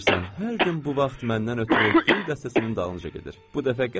Hər gün bu vaxt məndən ötrü güllər dəstəsinin dalınca gedir.